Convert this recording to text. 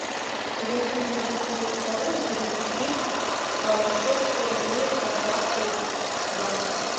зайти на мегафон точка ру и перевести на счет сто рублей контакту яна